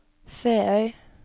Feøy